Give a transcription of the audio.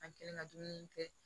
An kɛlen ka dumuni kɛ